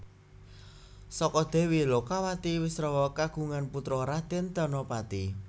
Saka Dèwi Lokawati Wisrawa kagungan putra Radèn Danapati